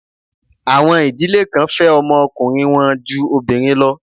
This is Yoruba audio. Àwọn ìdílé kan fẹ́ ọmọ ọkùnrin wọn ju obìnrin lọ.